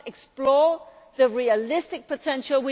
We must explore the realistic potential